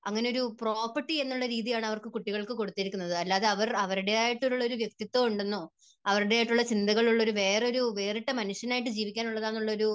അങ്ങനെയുള്ള പ്രോപ്പർട്ടി എന്ന രീതിയാണ് അവർക്ക് കുട്ടികളെ കുട്ടികൾക്ക് കൊടുത്തിരിക്കുന്നത്. അല്ലാതെ അവരുടേതായി ട്ടുള്ള ഒരു വ്യക്തിത്വം ഉണ്ടെന്നോ, അവരുടേതായി ട്ടുള്ള ചിന്തകളുള്ള, വേറൊരു വേറിട്ടൊരു മനുഷ്യനാണെന്ന് മനുഷ്യനായി ജീവിക്കാനുള്ളത് ആണെന്നൊരു